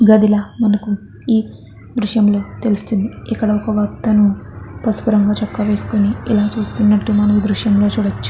గదిలాగ మనకి ఈ దృశ్యంలో తెలుస్తూ ఉన్నది. ఇక్కడ ఒక అతను పసుపు రంగు చొక్కా వేసుకుని కూర్చుని చూస్తున్నట్టు దృశ్యము లో చూడచ్చు.